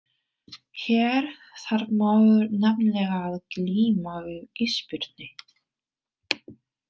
Hér þarf maður nefnilega að glíma við ísbirni!